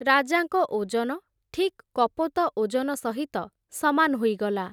ରାଜାଙ୍କ ଓଜନ ଠିକ୍ କପୋତ ଓଜନ ସହିତ ସମାନ୍ ହୋଇଗଲା ।